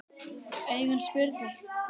Augun spurðu.